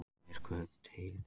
Er guð til